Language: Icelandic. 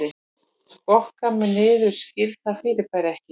Skokka mig niður skil það fyrirbæri ekki